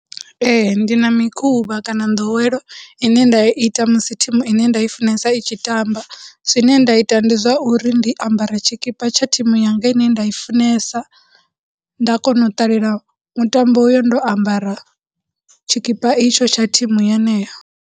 Ee, ndi na mikhuvha kana nḓowelo ine nda i ita musi thimu ine nda i funesa i tshi tamba, zwine nda ita ndi zwa uri ndi ambara tshikipa tsha thimu yanga ine nda i funesa, nda kona u ṱalela mutambo uyo ndo ambara tshikipa itsho tsha thimu yeneyo.